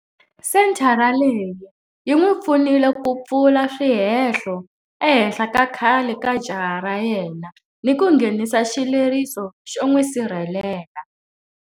Senthara leyi yi n'wi pfunile ku pfula swihehlo ehenhla ka khale ka jaha ra yena ni ku nghenisa xileriso xo n'wi sirhelela.